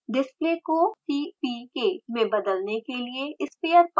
display को cpk में बदलने के लिए sphere पर क्लिक करें